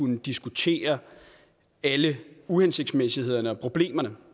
kunne diskutere alle uhensigtsmæssighederne og problemerne